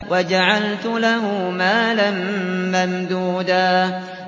وَجَعَلْتُ لَهُ مَالًا مَّمْدُودًا